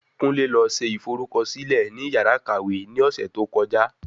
Kunle lọ se ìforúkọsílẹ ní yàrá ìkàwé ní ọ̀sẹ̀ tó kọjá